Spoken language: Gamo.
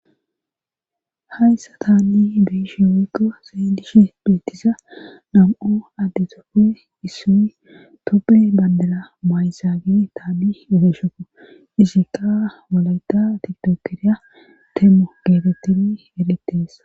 hayssa taanni beishi woykko seedishi beettiza nam7o adde toppe issuy tope bandera maayzaagi taabi ebeshoko izikka wolayta tidokiriya temmo geetettin eretees